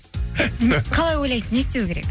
қалай ойлайсыз не істеу керек